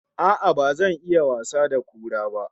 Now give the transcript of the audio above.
A'a, ba zan iya wasa da kura ba